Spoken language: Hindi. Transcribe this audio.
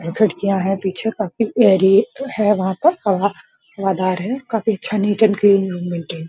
खिड़कियां है पीछे काफी एयर हैं वहां पर हवा हवादार है काफी अच्छा --